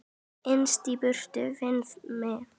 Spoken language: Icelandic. Innst í búri finna má.